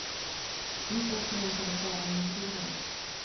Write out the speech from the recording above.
Dit åker man för att vara i naturen.